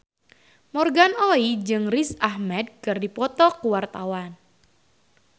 Morgan Oey jeung Riz Ahmed keur dipoto ku wartawan